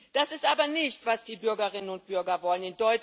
Das ist aber nicht, was die Bürgerinnen und Bürger wollen.